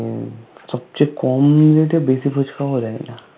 সবচে কম বেশি ফুচকাও দেয় না